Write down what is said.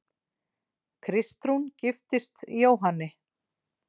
Kristrún giftist Jóhanni